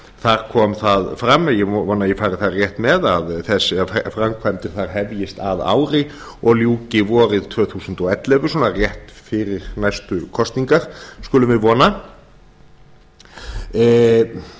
þar kom þar fram ég vona að ég fari þar rétt með að framkvæmdir þar hefjist að ári og ljúki vorið tvö þúsund og ellefu svona rétt fyrir næstu kosningar skulum við vona auðvitað